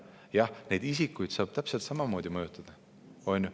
Jah, neid isikuid saab täpselt samamoodi mõjutada.